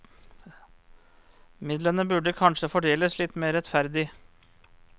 Midlene burde kanskje fordeles litt mer rettferdig.